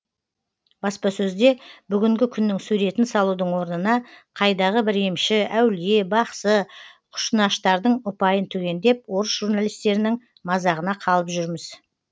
баспасөзде бүгінгі күннің суретін салудың орнына қайдағы бір емші әулие бақсы кұшынаштардың ұпайын түгендеп орыс журналистерінің мазағына қалып жүрміз